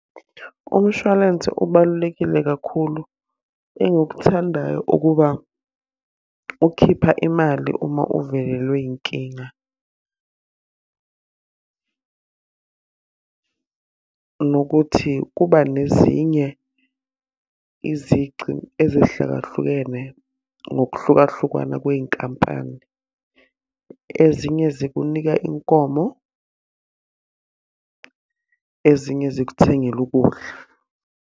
Umshwalense ubalulekile kakhulu, engikuthandayo ukuba ukhipha imali uma uvelelwe inkinga. Nokuthi kuba nezinye izici ezehlakahlukene ngokuhlukahlukana kwey'nkampani. Ezinye zikunika inkomo, ezinye zikuthengele ukudla.